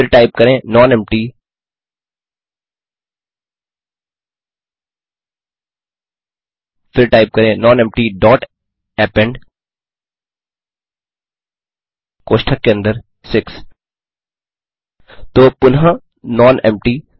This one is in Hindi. फिर टाइप करें nonempty160 फिर टाइप करें नॉनेम्पटी डॉट अपेंड कोष्ठक के अंदर 6 तो पुनः नॉनेम्पटी